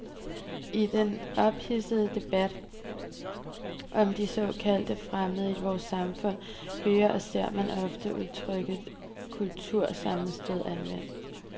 I den ophidsede debat om de såkaldt fremmede i vort samfund hører og ser man ofte udtrykket kultursammenstød anvendt.